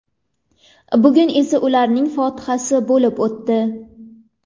Bugun esa ularning fotihasi bo‘lib o‘tdi.